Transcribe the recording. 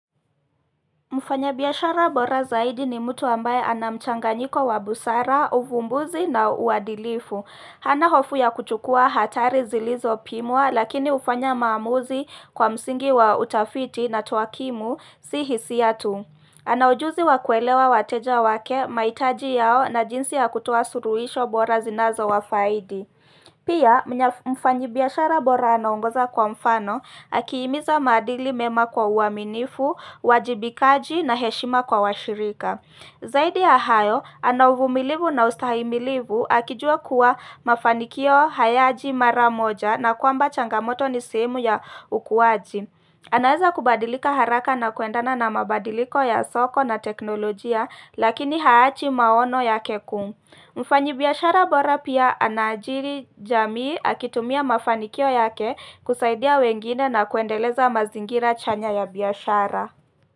Mufanya biashara bora zaidi ni mtu ambaye anamchanganyiko wabusara, uvumbuzi na uadilifu. Hana hofu ya kuchukua hatari zilizopimwa lakini hufanya maamuzi kwa msingi wa utafiti na tuwakimu si hisiatu. Anaujuzi wakuelewa wateja wake, maitaji yao na jinsi ya kutoa suruhisho bora zinazo wafaidi. Pia mfanyibiashara bora anaongoza kwa mfano, akiimiza maadili mema kwa uaminifu, uwajibikaji na heshima kwa washirika. Zaidi ya hayo, ana uvumilivu na ustahimilivu, akijua kuwa mafanikio hayaji maramoja na kwamba changamoto nisehemu ya ukuaji. Anaeza kubadilika haraka na kuendana na mabadiliko ya soko na teknolojia, lakini haachi maono ya kekuu. Mfanyi biashara bora pia anaajiri jamii akitumia mafanikio yake kusaidia wengine na kuendeleza mazingira chanya ya biashara.